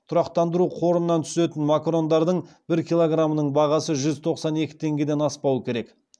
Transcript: тұрақтандыру қорынан түсетін макарондардың бір килограмының бағасы жүз тоқсан екі теңгеден аспауы керек